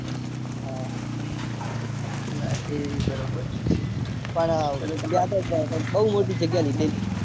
હા રાતે બરાબર પણ બૌ મોટી જગ્યા લીધેલી છે.